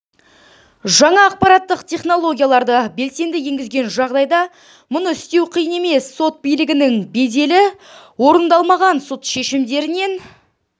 жаңа ақпараттық технологияларды белсенді енгізген жағдайда мұны істеу қиын емес сот билігінің беделі орындалмаған сот шешімдерінен